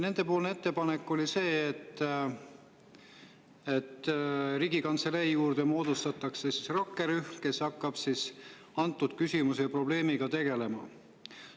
Nende ettepanek oli see, et Riigikantselei juurde moodustataks rakkerühm, kes hakkab selle küsimuse ja probleemiga tegelema.